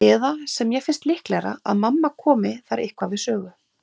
Eða, sem mér finnst líklegra, að mamma komi þar eitthvað við sögu.